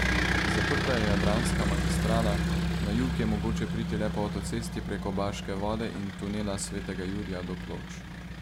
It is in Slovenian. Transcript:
Zaprta je jadranska magistrala, na jug je mogoče priti le po avtocesti preko Baške vode in tunela Svetega Jurija do Ploč.